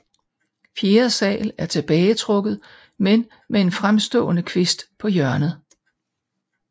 Fjerde sal er tilbagetrukket men med en fremstående kvist på hjørnet